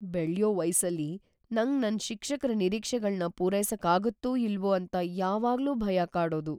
ಬೆಳ್ಯೋ ವಯಸ್ಸಲ್ಲಿ, ನಂಗ್ ನನ್ ಶಿಕ್ಷಕ್ರ ನಿರೀಕ್ಷೆಗಳ್ನ ಪೂರೈಸಕ್ ಆಗತ್ತೋ ಇಲ್ವೋ ಅಂತ ಯಾವಾಗ್ಲೂ ಭಯ ಕಾಡೋದು.